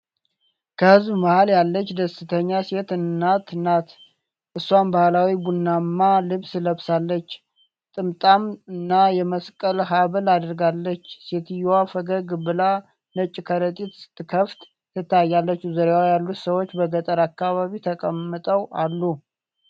ከሕዝብ መሀል ያለች ደስተኛ ሴት እናት ናት። እሷም ባህላዊ ቡናማ ልብስ ለብሳለች፣ ጥምጣም እና የመስቀል ሐብል አድርጋለች። ሴትየዋ ፈገግ ብላ ነጭ ከረጢት ስትከፍት ትታያለች። ዙሪያዋ ያሉት ሰዎች በገጠር አካባቢ ተቀምጠው አሉ።